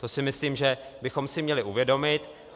To si myslím, že bychom si měli uvědomit.